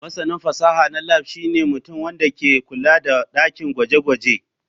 Masanin fasaha na lab shine mutum wanda ke kula da dakin gwaje-gwaje.